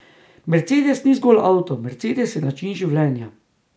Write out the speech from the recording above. Mercedes ni zgolj avto, mercedes je način življenja.